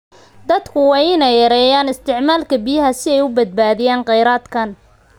Dadku waa inay yareeyaan isticmaalka biyaha si ay u badbaadiyaan kheyraadkan.